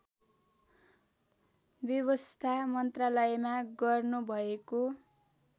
व्यवस्था मन्त्रालयमा गर्नुभएको